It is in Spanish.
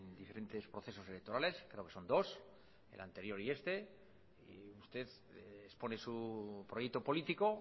diferentes procesos electorales creo que son dos el anterior y este y usted expone su proyecto político